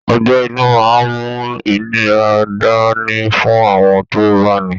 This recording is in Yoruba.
Ọgbẹ́ inú máa ń mú ìnira dáni fún àwọn tó bá ní i